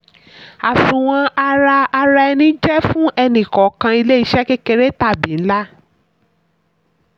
àsunwon ara ara ẹni jẹ́ fún ẹni kọọkan ilé-iṣẹ́ kékeré tàbí ńlá.